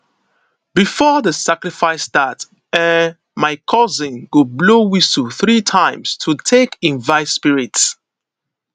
before di sacrifice start ehhn my cousin go blow whistle 3 times to take invite spirits